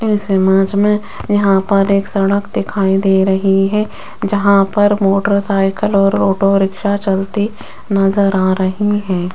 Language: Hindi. इस इमेज में यहां पर एक सड़क दिखाई दे रही है जहां पर मोटरसाइकिल और ऑटो रिक्शा चलती नजर आ रही है।